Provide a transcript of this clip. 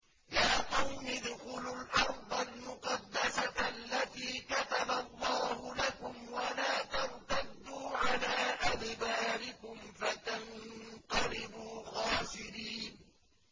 يَا قَوْمِ ادْخُلُوا الْأَرْضَ الْمُقَدَّسَةَ الَّتِي كَتَبَ اللَّهُ لَكُمْ وَلَا تَرْتَدُّوا عَلَىٰ أَدْبَارِكُمْ فَتَنقَلِبُوا خَاسِرِينَ